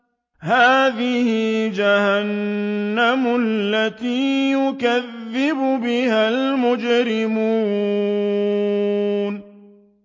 هَٰذِهِ جَهَنَّمُ الَّتِي يُكَذِّبُ بِهَا الْمُجْرِمُونَ